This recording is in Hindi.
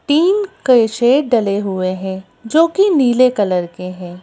तीन केशे डले हुए हैं जो कि नीले कलर के हैं।